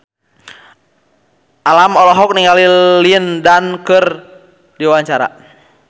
Alam olohok ningali Lin Dan keur diwawancara